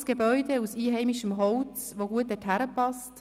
Es ist ein grosses Gebäude aus einheimischem Holz, das da gut hinpasst.